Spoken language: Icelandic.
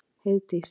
Heiðdís